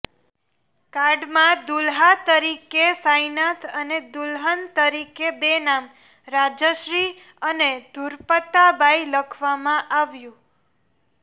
કાર્ડમાં દુલ્હા તરીકે સાઈનાથ અને દુલ્હન તરીકે બે નામ રાજશ્રી અને ધુરપતાબાઈ લખવામાં આવ્યું